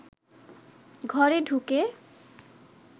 ঘরে ঢুকে